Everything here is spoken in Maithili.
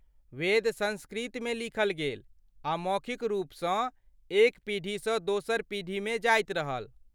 वेद सँस्कृतमे लिखल गेल आ मौखिक रूपसँ एक पीढ़ीसँ दोसर पीढ़ीमे जाइत रहल।